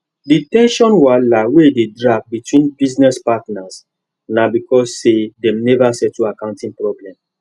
the ten sion wahala wey dey drag between business partners na because sey dem never settle accounting problem